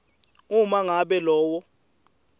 uma ngabe lowo